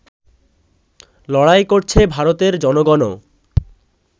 লড়াই করছে ভারতের জনগণও